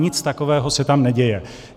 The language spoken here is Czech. Nic takového se tam neděje.